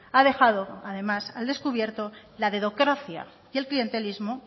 ha dejado además al descubierto la dedocracia y el clientelismo